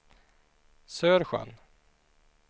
Sörsjön